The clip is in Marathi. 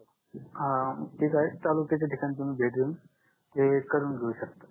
अं ठीक आहे तालुक्याच्या ठिकाणी तुम्ही भेट देऊन ते करून घेऊ शकता